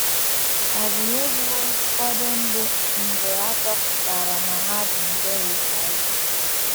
Ọbụna e gbuwo ụfọdụ ndị mgbe a chọpụtara na ha bu nje HIV.